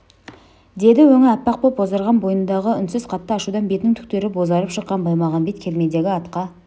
деді өңі аппақ боп бозарған бойындағы үнсіз қатты ашудан бетінің түктері бозарып шыққан баймағамбет кермедегі атқа